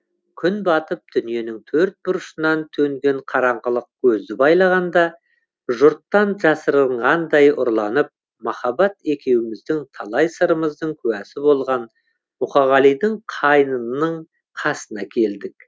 күн батып дүниенің төрт бұрышынан төнген қараңғылық көзді байлағанда жұрттан жасырынғандай ұрланып махаббат екеуміздің талай сырымыздың куәсі болған мұқағалидың қайыңының қасына келдік